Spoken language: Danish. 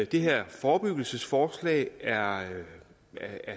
det her forebyggelsesforslag er